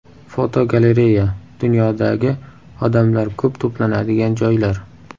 Fotogalereya: Dunyodagi odamlar ko‘p to‘planadigan joylar.